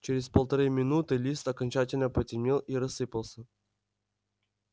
через полторы минуты лист окончательно потемнел и рассыпался